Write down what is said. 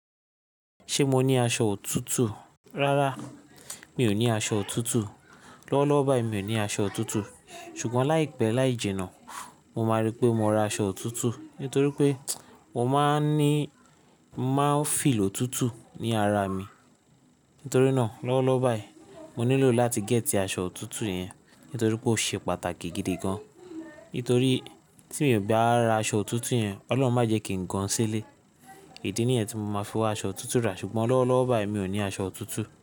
Ṣe mo ni aṣọ òtútù? Rárá, mi ò ní aṣọ òtútù. Lọ́wọ́lọ́wọ́ báyìí mi ò ní aṣọ òtútù. Ṣùgbọ́n láìpẹ́ láì jìnnà, mo máa rí pé mo ra aṣọ òtútù nítorí pé mo máa ń ní mo maa feel òtútù ní ara mi. Nítorí náà, lọ́wọ́lọ́wọ́ báyìí mo nílò láti gẹ́t aṣọ òtútù yẹn nítorí pé ó ṣe pàtàkì gidi gan. Nítorí tí mi ò bá ra aṣọ òtútù yẹn, Ọlọ́run má jẹ kí n gan sílé. Idí nìyẹn tí mo máa fi wa aṣọ òtútù rà. Ṣùgbọ́n lọ́wọ́lọ́wọ́ báyìí mi ò ní aṣọ òtútù.